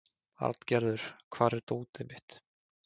Arngerður, hvar er dótið mitt?